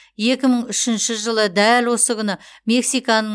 екі мың үшінші жылы дәл осы күні мексиканың